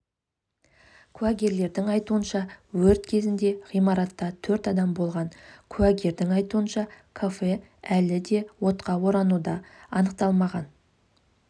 куәгерлердің айтуынша өрт кезінде ғимаратта төрт адам болған куәгердің айтуынша кафе әлі де отқа орануда анықталмаған